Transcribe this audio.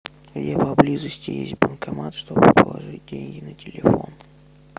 где поблизости есть банкомат чтобы положить деньги на телефон